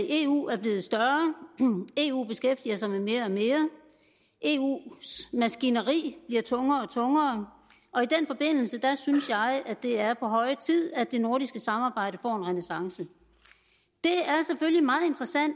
eu er blevet større eu beskæftiger sig med mere og mere eus maskineri bliver tungere og tungere og i den forbindelse synes jeg det er på høje tid at det nordiske samarbejde får en renæssance det